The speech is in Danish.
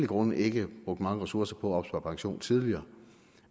grunde ikke har brugt mange ressourcer på at opspare pension tidligere